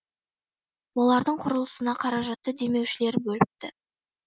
олардың құрылысына қаражатты демеушілер бөліпті